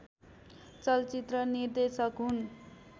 चलचित्र निर्देशक हुन्